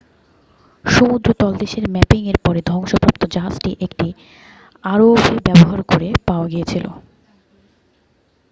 সমুদ্র তলদেশের ম্যাপিংয়ের পরে ধ্বংসপ্রাপ্ত জাহাজটি একটি আরওভি ব্যবহার করে পাওয়া গিয়েছিল